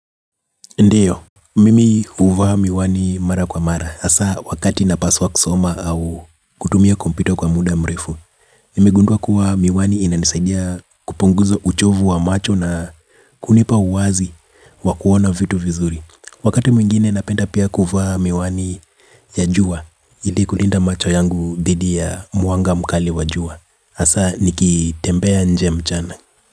Ndio, mimi huvaa miwani mara kwa mara. Asa, wakati napaswa kusoma au kutumia kompyuta kwa muda mrefu, nimegundwa kuwa miwani inanisaidia kupunguzo uchovu wa macho na kunipa uwazi wa kuona vitu vizuri. Wakati mwingine napenda pia kuvaa miwani ya juwa, ili kulinda macho yangu dhidi ya mwanga mkali wa juwa. Asa, nikitembea nje mchana.